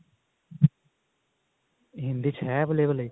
ਹਿੰਦੀ ਚ ਹੈ available ਇਹ